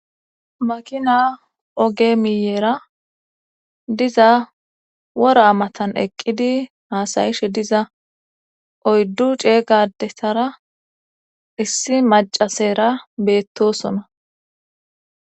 makina oge miyeera diza wora matan eqqidi haasayishe diza oyddu ceegadessara issi macasera beettosona